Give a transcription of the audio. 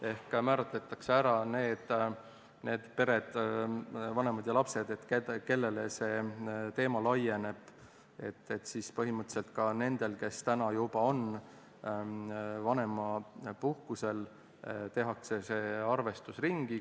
Ehk määratletakse ära need pered, vanemad ja lapsed, kellele see teema laieneb, ehk põhimõtteliselt ka nendele, kes juba on vanemapuhkusel, tehakse see arvestus ringi.